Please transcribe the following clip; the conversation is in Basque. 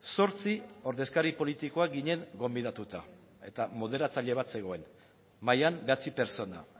zortzi ordezkari politikoak ginen gonbidatuta eta moderatzaile bat zegoen mahaian bederatzi pertsona